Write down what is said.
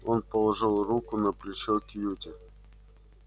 он положил руку на плечо кьюти